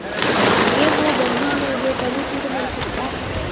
ये वो बंधन है जो कभी टूट नही सकता